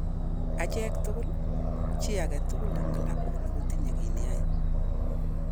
Acheek tugul, chi age tugul en'g klabuini kotinye ki ne yae